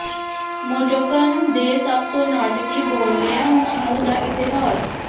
ਮੋਟੋਕਨ ਦੇ ਸਭ ਤੋਂ ਨਾਟਕੀ ਬੋਲਿਆ ਸਮੂਹ ਦਾ ਇਤਿਹਾਸ